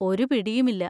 ഒരു പിടിയും ഇല്ല.